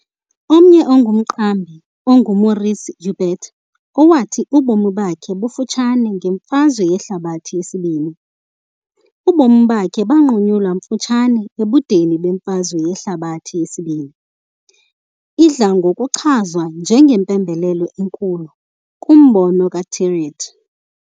Omnye umqambi onguMaurice Jaubert, owathi ubomi bakhe bufutshane ngeMfazwe Yehlabathi II, ubomi bakhe banqunyulwa bufutshane ebudeni beMfazwe Yehlabathi II, idla ngokuchazwa njengempembelelo enkulu kwimbono kaThiriet.